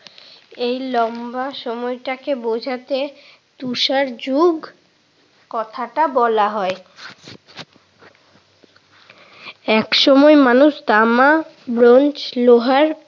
এই লম্বা সময়টাকে বুৃঝাতে তুষার যুগ কথাটা বলা হয়। একসময় মানুষ তামা, ব্রোঞ্জ, লোহার